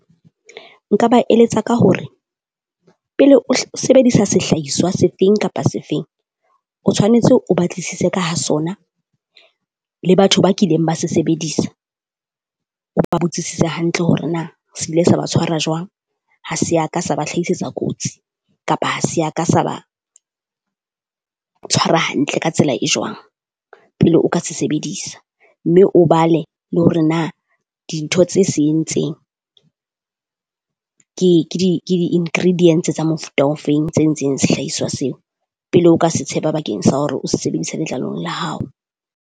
Nka ba eletsa ka hore pele o sebedisa sehlahiswa sefeng kapa sefeng, o tshwanetse o batlisise ka ha sona le batho ba kileng ba se sebedisa. O ba botsisise hantle hore na se ile sa ba tshwara jwang, ha se ya ka se ba hlahisetsa kotsi. Kapo ha se ya ka sa ba tshwara hantle ka tsela e jwang pele o ka se sebedisa, mme o bale le hore na dintho tse se entseng ke ke di ke di-ingredients tsa mofuta ofeng tse ntseng sehlaiswa seo. Pele o ka se tshepa bakeng sa hore o se sebedise letlalong la hao.